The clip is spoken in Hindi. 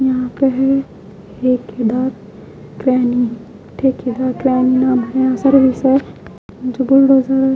यहाँ पे है --